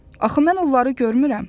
Axı mən onları görmürəm.